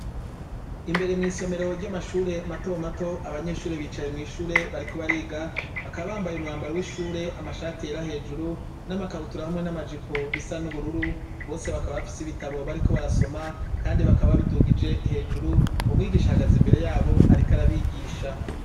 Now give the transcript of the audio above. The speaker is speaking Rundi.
Imbere mw'isomero ry'amashure matomato abanyeshure bicaye mw'ishure bariko bariga bakabambaye umwambaro w'ishure amashati era hejuru n'amakabutura hamwe n'amajipo bisa n'ubururu bose bakaba bafise ibitabo bariko barasoma, kandi bakaba bidugije hejuru bumwigisha hagaze imbere yabo, ariko arabigisha.